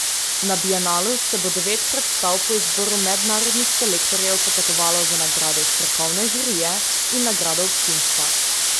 Na bienalu se bo devet predstav po izboru mednarodnih selektorjev potegovalo za nagrade strokovne žirije in nagrado občinstva.